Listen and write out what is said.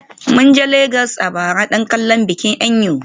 Mun je Legas a bara don kallon bikin Eyo.